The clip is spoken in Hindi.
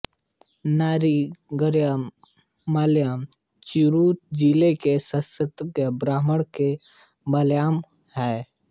नागरी मलयालम त्रिचूर जिले के संस्कृतज्ञ ब्राह्मणों की मलयालम है